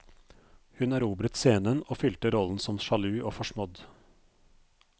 Hun erobret scenen og fylte rollen som sjalu og forsmådd.